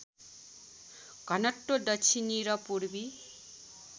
घनत्व दक्षिणी र पूर्वी